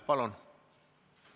Palun!